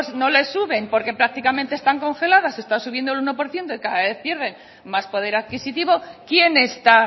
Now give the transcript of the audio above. no le suben porque prácticamente están congeladas están subiendo el uno por ciento y cada vez pierden más poder adquisitivo quién está